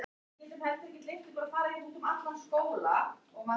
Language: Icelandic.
Hver verður aðstoðarþjálfari?